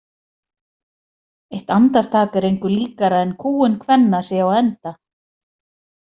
Eitt andartak er engu líkara en kúgun kvenna sé á enda.